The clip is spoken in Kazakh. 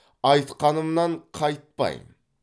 айтқанымнан қайтпайм